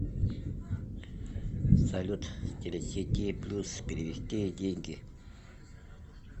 салют телесети плюс перевести деньги